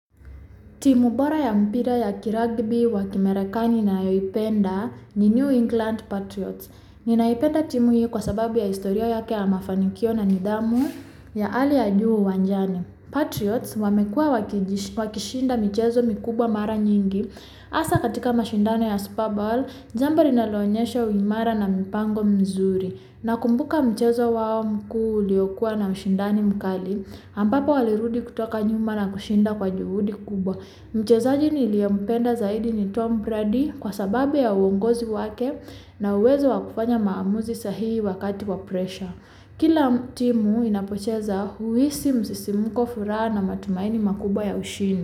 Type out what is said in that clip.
Timu bora ya mpira ya kiragby wa kimerakani ninayoipenda ni New England Patriots. Ninaipenda timu hiyo kwa sababu ya historia yake ya mafanikio na nidhamu ya hali ya juu uwanjani. Patriots wamekuwa wa kishinda michezo mikubwa mara nyingi. Hasa katika mashindano ya Super Bowl, jambo linaloonyesha uimara na mpango mzuri. Nakumbuka michezo wa mku uliokuwa na ushindani mkali. Ampapo walirudi kutoka nyuma na kushinda kwa jihudi kubwa. Michezo nini liyempenda zaidi ni Tom Brady kwa sababu ya uongozi wake na uwezo wa kufanya maamuzi sahihi wakati wa pressure. Kila timu inapochaza huhisi msisimuko furaha na matumaini makubwa ya ushindi.